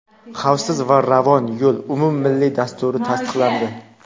"Xavfsiz va ravon yo‘l" umummilliy dasturi tasdiqlandi.